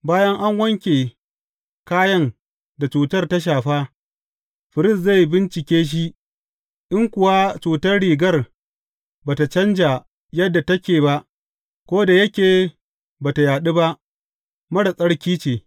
Bayan an wanke kayan da cutar ta shafa, firist zai bincike shi, in kuwa cutar rigar ba tă canja yadda take ba, ko da yake ba tă yaɗu ba, marar tsarki ce.